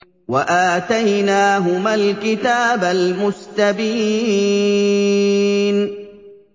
وَآتَيْنَاهُمَا الْكِتَابَ الْمُسْتَبِينَ